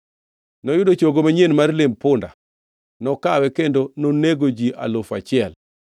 Noyudo chogo manyien mar lemb punda, nokawe kendo nonego ji alufu achiel.